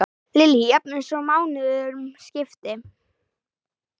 Lillý: Jafnvel svo mánuðum skipti?